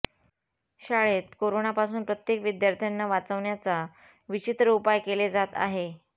शाळेत कोरोनापासून प्रत्येक विद्यार्थ्यांना वाचवण्याचा विचित्र उपाय केले जात आहे